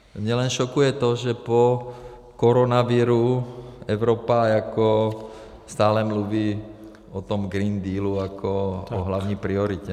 Mě jen šokuje to, že po koronaviru Evropa jako stále mluví o tom Green Dealu jako o hlavní prioritě.